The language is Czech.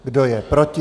Kdo je proti?